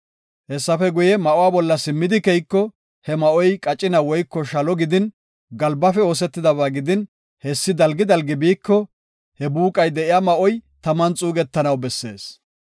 Hessafe guye, ma7uwa bolla simmidi keyiko, he ma7oy qacina woyko shalo gidin, galbafe oosetidaba gidin, hessi dalgi dalgi biiko he buuqay de7iya ma7oy taman xuugetanaw bessees.